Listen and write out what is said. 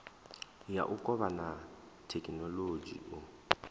ya u kovhana thekhinolodzhi u